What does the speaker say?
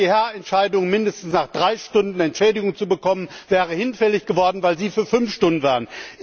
Die EuGH Entscheidung, nach mindestens drei Stunden Entschädigung zu bekommen, wäre hinfällig geworden, weil Sie für fünf Stunden waren.